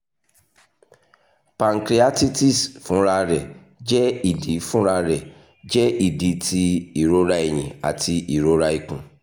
pancreatitis funrararẹ jẹ idi funrararẹ jẹ idi ti irora ẹhin ati irora ikun